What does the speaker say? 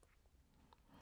DR2